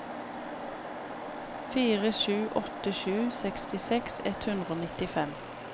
fire sju åtte sju sekstiseks ett hundre og nittifem